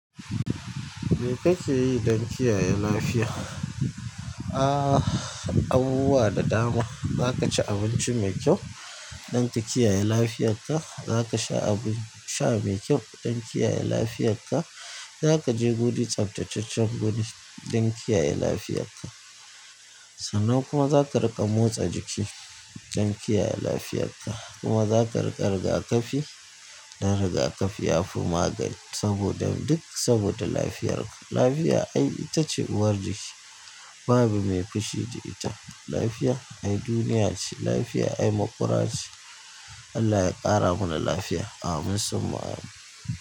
Me kake yi don kiyaye lafiya? Ah, abubuwa da dama. Zaka ci abinci mai kyau don ka kiyaye lafiyarka. Zaka sha abu, sha mai kyau don kiyaye lafiyarka. Zaka je guri tsaftataccen guri don kiyaye lafiyarka. Sannan kuma zaka riƙa motsa jiki don kiyaye lafiyarka. Kuma zaka riƙa rigakafi don rigakafi ya fi magani saboda duk saboda lafiyarka. Lafiya ai itace uwar jiki babu mai fushi da ita. Lafiya ai duniya ce, lafiya ai maƙura ce. Allah ya ƙara mana lafiya. Amin summa. Amin.